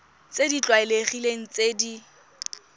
tse di tlwaelegileng tse di